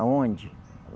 Aonde?